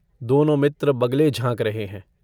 दोनों मित्र बगलें झाँक रहे हैं।